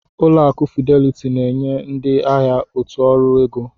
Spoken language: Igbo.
Ụlọ akụ Fideliti na-enye ndị ahịa ọtụtụ ọrụ ego.